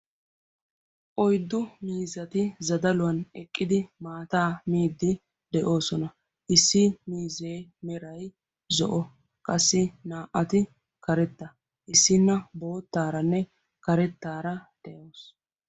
Oyddu miizzatti zaddaluwan eqqiddi maattaa moosonn. Issi miizze meray zo'o naa'atti qassi karetta.